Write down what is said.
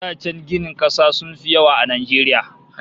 Da can ginin kasa sun fi yawa a Najeriya